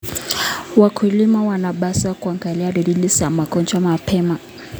Wakulima wanapaswa kuangalia dalili za magonjwa mapema.